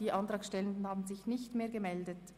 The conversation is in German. Die Antragsteller haben sich nicht mehr gemeldet.